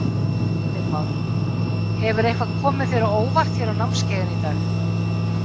Heimir Már: Hefur eitthvað komið þér á óvart hér á námskeiðinu í dag?